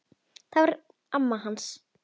Það var amma hans